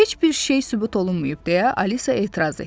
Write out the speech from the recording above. Heç bir şey sübut olunmayıb deyə Alisa etiraz etdi.